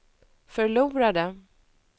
förlorade